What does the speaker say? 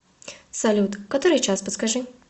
салют который час подскажи